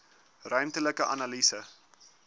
ruimtelike analise